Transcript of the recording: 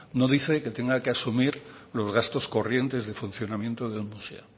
no dice que tenga que asumir los gastos corrientes de funcionamiento de un museo